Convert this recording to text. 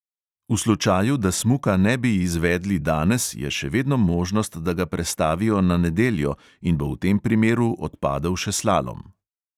V slučaju, da smuka ne bi izvedli danes, je še vedno možnost, da ga prestavijo na nedeljo in bo v tem primeru odpadel še slalom.